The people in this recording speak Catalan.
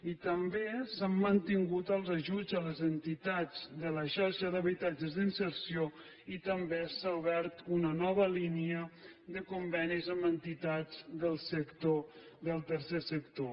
i també s’han mantingut els ajuts a les entitats de la xarxa d’habitatges d’inserció i també s’ha obert una nova línia de convenis amb entitats del tercer sector